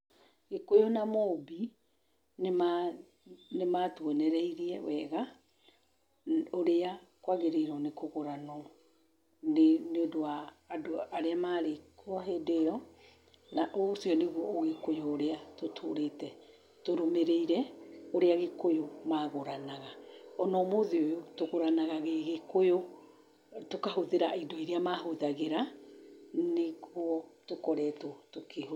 Gĩkũyũ na Mũmbi nĩ matũonereirie wega ũrĩa kwagĩrĩirwo nĩ kũgũranwo, nĩũndũ wa andũ arĩa marĩ kuo hĩndĩ ĩyo, na ũcio nĩguo ũgĩkũyũ urĩa tũtũrĩte tũrũmĩrĩire, ũrĩa gĩkũyũ magũranaga. O na ũmũthĩ ũyũ, tũgũranaga gĩgĩkũyũ, tũkahũthĩra indo iria mahũthagĩra nĩkuo tũkoretwo tũkĩhũthĩra.